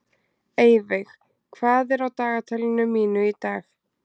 Eyveig, hvað er á dagatalinu mínu í dag?